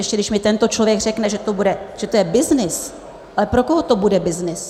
Ještě když mi tento člověk řekne, že to je byznys, ale pro koho to bude byznys?